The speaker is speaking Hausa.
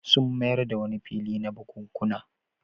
Sun mayar da wani fili na bukunkuna.